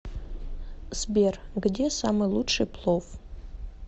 сбер где самый лучший плов